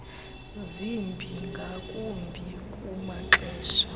zibi ngakumbi kumaxesha